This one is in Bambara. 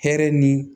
Hɛrɛ ni